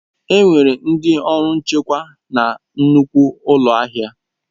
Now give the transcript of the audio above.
Enwere ndị ọrụ nchekwa na nnukwu ụlọ ahịa.